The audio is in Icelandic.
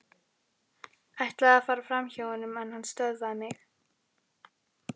Ætlaði að fara framhjá honum en hann stöðvaði mig.